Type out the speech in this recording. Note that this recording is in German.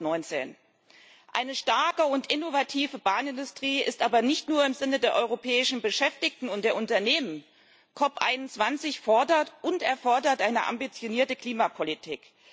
2019. Eine starke und innovative Bahnindustrie ist aber nicht nur im Sinne der europäischen Beschäftigten und der Unternehmen COP21 fordert und erfordert eine ambitionierte Klimapolitik.